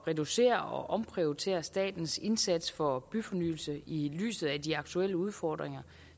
reducere og omprioritere statens indsats for byfornyelse i lyset af de aktuelle udfordringer